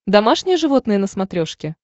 домашние животные на смотрешке